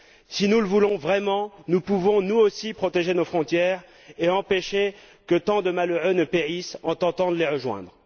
Si nous le voulons vraiment, nous pouvons nous aussi protéger nos frontières et empêcher que tant de malheureux ne périssent en tentant de les rejoindre.